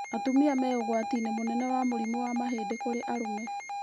Atumia me ũgwati-inĩ mũnene wa mũrimũ wa mahĩndĩ kũrĩ arũme